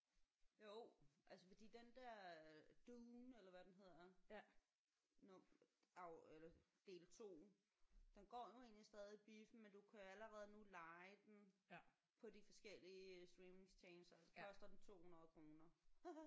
Jo altså fordi den der Dune eller hvad den hedder nu af eller del 2 den går jo egentlig stadig i biffen men du kan allerede nu leje den på de forskellige streamingtjenester så koster den 200 kroner